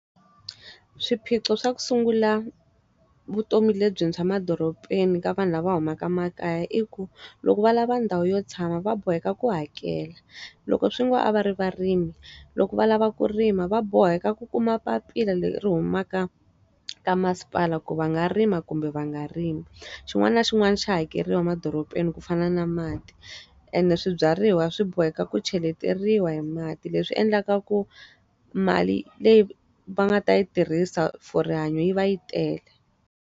Swiphiqo swa ku sungula vutomi lebyintshwa madorobeni ka vanhu lava humaka makaya i ku, loko va lava ndhawu yo tshama va boheka ku hakela. Loko swi ngo a va ri varimi, loko va lava ku rima va boheka ku kuma papila leri ri humaka ka masipala ku va nga rima kumbe va nga rimi. Xin'wana na xin'wana xa hakeriwa madorobeni ku fana na mati, ene swibyariwa swi boheka ku cheleteriwa hi mati. Leswi endlaka ku mali leyi va nga ta yi tirhisa for rihanyo yi va yi tele.